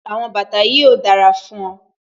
Àwọn bàtà yìí ò dára fún ọ